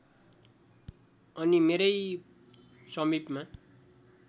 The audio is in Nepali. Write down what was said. अनि मेरै समिपमा